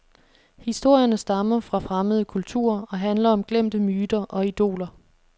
Historierne stammer fra fremmede kulturer og handler om glemte myter og idoler.